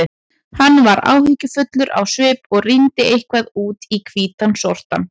Hann var áhyggjufullur á svip og rýndi eitthvað út í hvítan sortann.